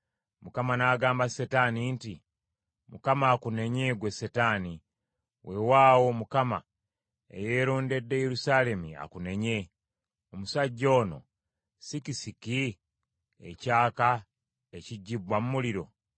Mukama n’agamba Setaani nti, “ Mukama akunenye ggwe Setaani, weewaawo Mukama eyeerondedde Yerusaalemi akunenye! Omusajja ono si kisiki ekyaka ekigibbwa mu muliro?”